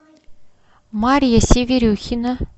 марья северюхина